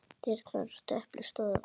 Dyrnar á stöpli stóðu opnar.